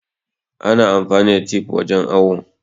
Ana amfani da tif wajen awo